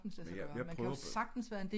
Men jeg prøver